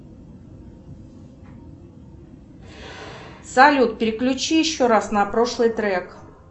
салют переключи еще раз на прошлый трек